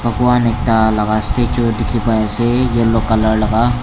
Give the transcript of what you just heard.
bagwan ekta laga ase etu dikhi pai ase yellow colour laga.